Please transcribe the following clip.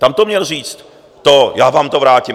Tam to měl říct, to "já vám to vrátím".